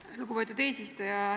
Aitäh, lugupeetud eesistuja!